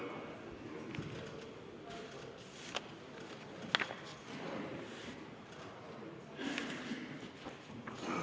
Kohalolijaks registreerus 71 Riigikogu liiget, puudub 30.